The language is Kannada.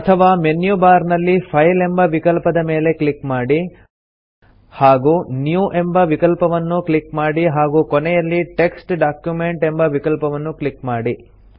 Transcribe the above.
ಅಥವಾ ಮೆನು ಬಾರ್ ನಲ್ಲಿ ಫೈಲ್ ಎಂಬ ವಿಕಲ್ಪದ ಮೇಲೆ ಕ್ಲಿಕ್ ಮಾಡಿ ಹಾಗೂ ನ್ಯೂ ಎಂಬ ವಿಕಲ್ಪವನ್ನು ಕ್ಲಿಕ್ ಮಾಡಿ ಹಾಗೂ ಕೊನೆಯಲ್ಲಿ ಟೆಕ್ಸ್ಟ್ ಡಾಕ್ಯುಮೆಂಟ್ ಎಂಬ ವಿಕಲ್ಪವನ್ನು ಕ್ಲಿಕ್ ಮಾಡಿ